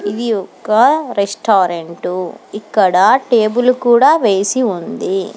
ఇది ఒక రెస్టారెంట్ ఇక్కడ టేబుల్ కూడా వేసి ఉంది.